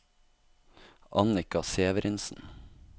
Annika Severinsen